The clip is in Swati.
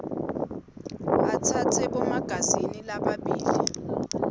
atsatse bomagazini lababili